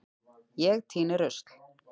Ég tíni rusl.